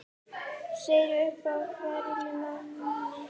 sagan upp á hvern mann